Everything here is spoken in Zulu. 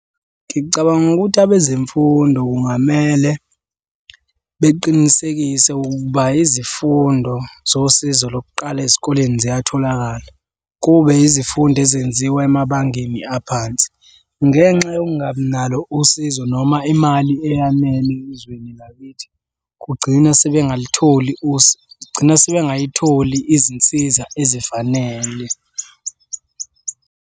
Ngicabanga ukuthi abezemfundo kungamele beqinisekise ukuba izifundo zosizo lokuqala ezikoleni ziyatholakala. Kube yizifundo ezenziwa emabangeni aphansi. Ngenxa yokungabi nalo usizo noma imali eyanele ezweni lakithi, kugcina sebengalutholi kugcina sebengayitholi izinsiza ezifanele.